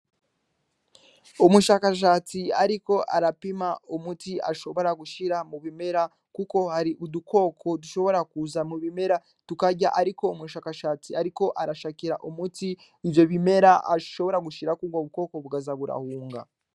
Umushakashatsi, ariko arapima umuti ashobora gushira mu bimera, kuko hari udukoko dushobora kuza mu bimera tukarya, ariko umushakashatsi ariko arashakira umuti ivyo bimera ashobora gushirako ubwo bukoko bukaza burahunga.